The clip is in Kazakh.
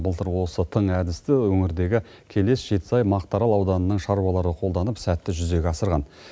былтыр осы тың әдісті өңірдегі келес жетісай мақтаарал ауданының шаруалары қолданып сәтті жүзеге асырған